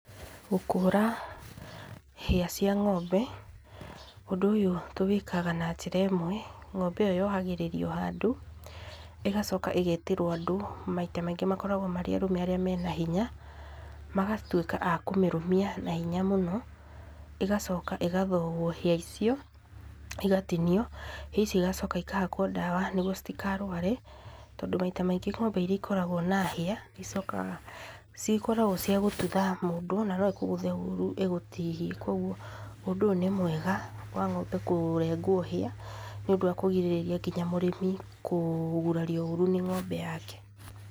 Gũkũra hĩa cia ng'ombe, ũndũ ũyũ tũwĩkaga na njĩra ĩmwe, ng'ombe ĩyo yogagĩrĩrwo handũ, ĩgacoka ĩgetĩrwo andũ maita maingĩ makoragwo marĩ arũme arĩa mena hinya, magatuĩka a kũmĩrũmia na hinya mũno, ĩgacoka ĩgathogwo hĩa icio igatinio, hĩa icio igacoka ikahakwo ndawa nĩguo citigarware, tondũ maita maingĩ ng'ombe iria ikoragwo na hĩa icokaga, cikoragwo cia gũtutha mũndũ, na no ĩkũgũthe ũru ĩgũtihie, koguo ũndũ ũyũ nĩ mwega wa ng'ombe kũrengwo hĩa, nĩ ũndũ wa kũrigĩrĩria nginya mũrĩmi kũgurario ũru nĩ ng'ombe yake.